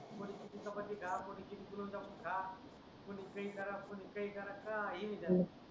कोणी किती चपाती खा कोणी दोन चपाती खा कोणी पेंट करा काही नाही